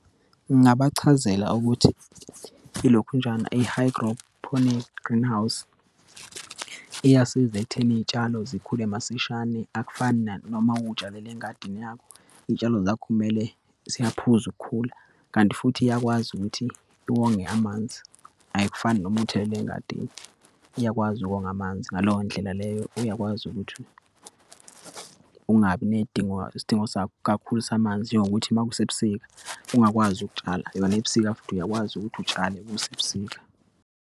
Ngingabachazela ukuthi ilokhunjani i-hydrophonic greenhouse, iyasiza ekutheni iyitshalo zikhule masishane, akufani nanoma uyitshalele engadini yakho. Iyitshalo zakho kumele siyaphuza ukukhula kanti futhi iyakwazi ukuthi iwonge amanzi, ayikufani noma uthelela engadini, iyakwazi ukonga amanzi. Ngaleyo ndlela leyo, uyakwazi ukuthi ungabi neyidingo isidingo kakhulu samanzi, njengokuthi uma kusebusika, ungakwazi ukutshala. Yona ebusika futhi uyakwazi ukuthi utshale kusebusika.